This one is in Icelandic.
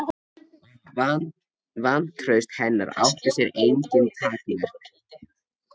Vantraust hennar átti sér engin takmörk.